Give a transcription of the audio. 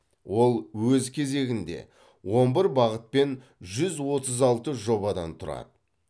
ол өз кезегінде он бір бағыт пен жүз оттыз алты жобадан тұрады